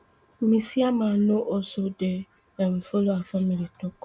ms yama no also dey um follow her family tok